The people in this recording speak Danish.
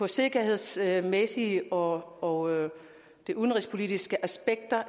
sikkerhedsmæssige og de udenrigspolitiske aspekter